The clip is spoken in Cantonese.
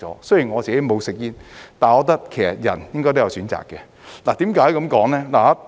雖然我不吸煙，但我覺得人應該有選擇權的。